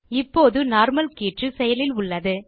இப்போது நார்மல் கீற்று செயலில் உள்ளது